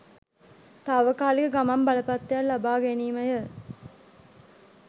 තාවකාලික ගමන් බලපත්‍රයක් ලබා ගැනීමය.